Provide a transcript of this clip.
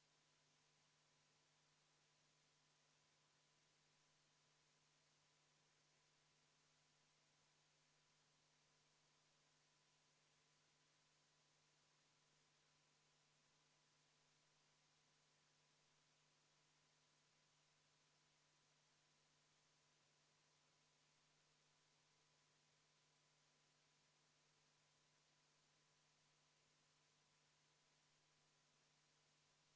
V a h e a e g